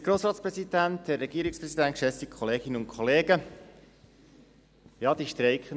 Ja, die streikenden Schüler und Schülerinnen.